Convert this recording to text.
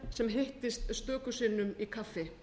sem hittist stöku sinnum í kaffi